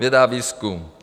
Věda a výzkum.